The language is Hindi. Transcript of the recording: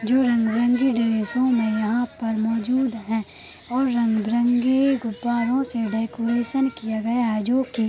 जो रंग-बिरंगे ड्रेसों में यहाँ पर मौजूद हैं और रंग-बिरंगे गुब्बारों से डेकोरेसन किया गया है जो की --